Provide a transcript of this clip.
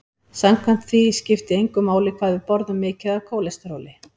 Samkvæmt því skipti engu máli hvað við borðum mikið af kólesteróli.